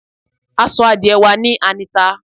À sọ́ àdiẹ wa ní Anita